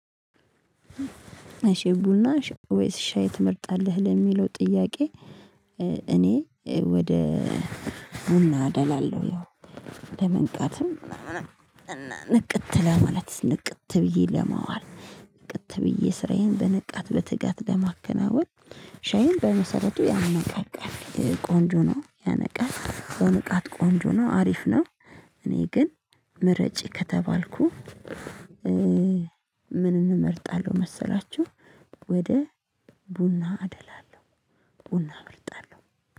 እሺ ቡና እሺ ወይስ ሻይ ትመርጣለህ ለሚለው ጥያቄ? እኔ ወደ ቡና አደላለሁ ያው ለመንቃትም ንቅት ለማለት ንቅት ብዬ ለማዋል ንቅት ብዬ ስራዬን በንቃት በትጋት ለማከናወን። ሻይን በመሰረቱ ያነቃቃል ቆንጆ ነው ያነቃል በንቃት ቆንጆ ነው አሪፍ ነው። እኔ ግን ምረጭ ከተባልኩ ምን እመርጣለሁ መሰላችሁ? ወደ ቡና አደላለሁ ቡና እመርጣለሁ